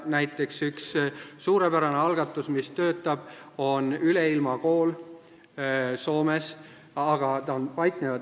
Näiteks, üks suurepärane algatus, mis töötab, on Üleilmakool Soomes.